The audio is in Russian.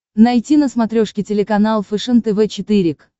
найти на смотрешке телеканал фэшен тв четыре к